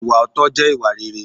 Ìwà òótọ́ jẹ́ ìwà réré.